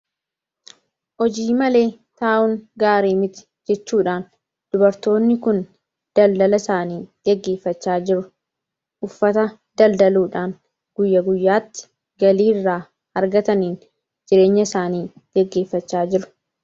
Hojii malee taa'uun gaarii miti jechuudhaan dubartoonni kun daldala isaanii gaggeeffachaa jiru. Uffata daldaluudhaan guyya guyyaatti galii irraa argataniin jireenya isaanii gaggeeffachaa jiru.